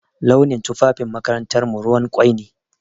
Launin tufafin makarantarmu ruwan ƙwai ne.